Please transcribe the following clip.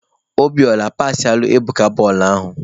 Obiora pasịalụ Ebuka bọọlụ ahụ!